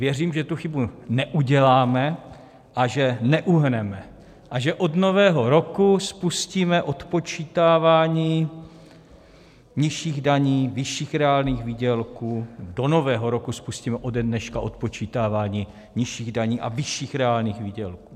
Věřím, že tu chybu neuděláme a že neuhneme a že od Nového roku spustíme odpočítávání nižších daní, vyšších reálných výdělků, do Nového roku spustíme ode dneška odpočítávání nižších daní a vyšších reálných výdělků.